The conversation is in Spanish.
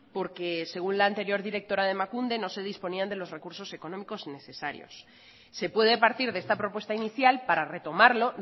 porque según la anterior directora de emakunde no se disponían de los recursos económicos necesarios se puede partir de esta propuesta inicial para retomarlo